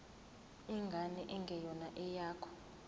ingane engeyona eyakho